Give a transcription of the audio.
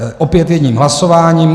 Opět jedním hlasováním.